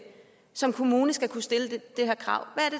som kommune skal kunne stille det her krav